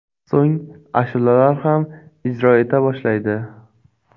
So‘ng ashulalar ham ijro eta boshlaydi.